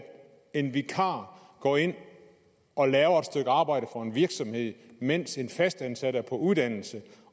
en vikar går ind og laver et stykke arbejde for en virksomhed mens en fastansat er på uddannelse